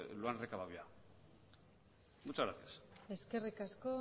lo han recabado ya muchas gracias eskerrik asko